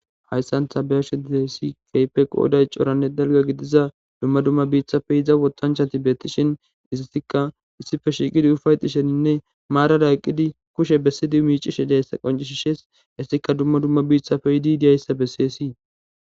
Hayssan ta be'ashe dizayssi keehippe qooday coranne dalgga gidiza dumma dumma biitappe yida wotanchati beetishin ezatikka issippe shiiqidi ufaytishine marara eqqidi kushe besidi miicishe diyayssa qonccisees. Hessikka dumma dumma biithappe yidi diyayssa beeseesi.